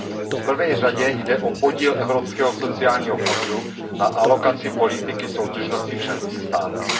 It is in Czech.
V prvé řadě jde o podíl Evropského sociálního fondu na alokaci politiky soudržnosti v členských státech.